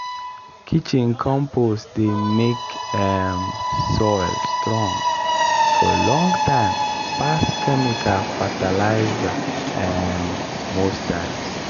kitchen compost dey make um soil strong for long time pass chemical fertilizer um most times.